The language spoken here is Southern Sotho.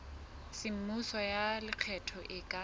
semmuso ya lekgetho e ka